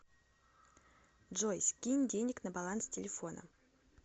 джой скинь денег на баланс телефона